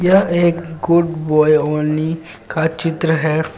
यह एक good boy only का चित्र है.